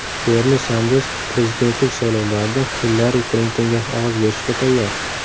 Berni Sanders prezidentlik saylovlarida Hillari Klintonga ovoz berishga tayyor.